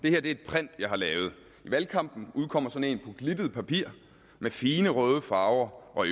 er et print jeg har lavet i valgkampen udkommer sådan en på glittet papir med fine røde farver og